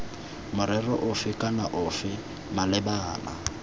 morero ofe kana ofe malebana